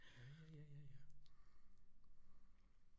Ja ja ja ja